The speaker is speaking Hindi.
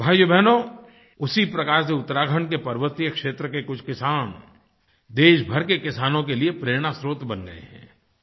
भाइयोबहनो उसी प्रकार से उत्तराखंड के पर्वतीय क्षेत्र के कुछ किसान देशभर के किसानों के लिए प्रेरणा स्रोत बन गए हैं